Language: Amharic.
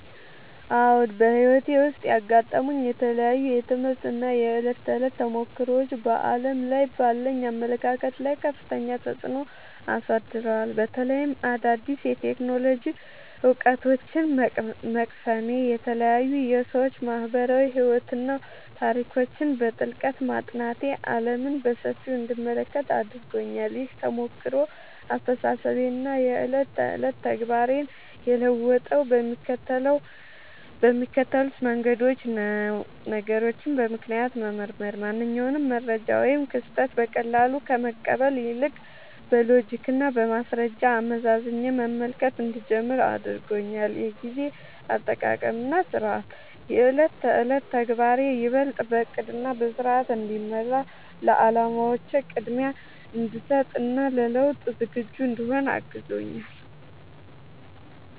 አዎ፣ በሕይወቴ ውስጥ ያጋጠሙኝ የተለያዩ የትምህርት እና የዕለት ተዕለት ተሞክሮዎች በዓለም ላይ ባለኝ አመለካከት ላይ ከፍተኛ ተጽዕኖ አሳድረዋል። በተለይም አዳዲስ የቴክኖሎጂ እውቀቶችን መቅሰሜ፣ የተለያዩ የሰዎች ማኅበራዊ ሕይወትና ታሪኮችን በጥልቀት ማጥናቴ ዓለምን በሰፊው እንድመለከት አድርጎኛል። ይህ ተሞክሮ አስተሳሰቤንና የዕለት ተዕለት ተግባሬን የለወጠው በሚከተሉት መንገዶች ነው፦ ነገሮችን በምክንያት መመርመር፦ ማንኛውንም መረጃ ወይም ክስተት በቀላሉ ከመቀበል ይልቅ፣ በሎጂክና በማስረጃ አመዛዝኜ መመልከት እንድጀምር አድርጎኛል። የጊዜ አጠቃቀምና ሥርዓት፦ የዕለት ተዕለት ተግባሬ ይበልጥ በዕቅድና በሥርዓት እንዲመራ፣ ለዓላማዎቼ ቅድሚያ እንድሰጥ እና ለለውጥ ዝግጁ እንድሆን አግዞኛል።